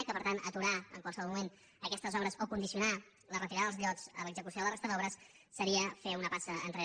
i que per tant aturar en qualsevol moment aquestes obres o condicionar la retirada dels llots a l’execució de la resta d’obres seria fer una passa enrere